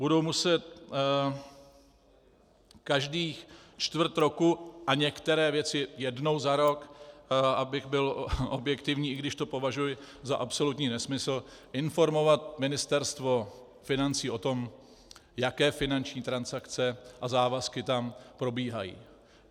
Budou muset každých čtvrt roku, a některé věci jednou za rok, abych byl objektivní, i když to považuji za absolutní nesmysl, informovat Ministerstvo financí o tom, jaké finanční transakce a závazky tam probíhají.